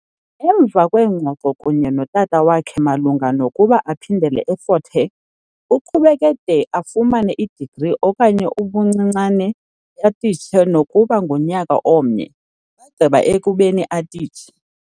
Emva kweengxoko kunye notata wakhe malunga nokuba aphindele eFort Hare, aqhubeke de afumane i-degree okanye ebuncinaneni atistshe nokuba ngunyaka omnye, bagqiba ekubeni atitshe.